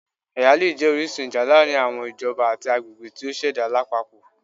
Ẹya le jẹ orisun ija laarin awọn ijọba ati agbegbe ti o ṣẹda lapapọ